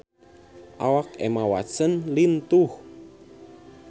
Awak Emma Watson lintuh